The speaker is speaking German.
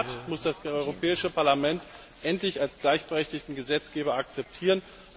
Der Rat muss das Europäische Parlament endlich als gleichberechtigten Gesetzgeber akzeptieren.